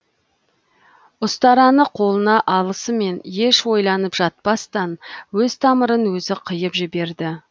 ұстараны қолына алысымен еш ойланып жатпастан өз тамырын өзі қиып жіберді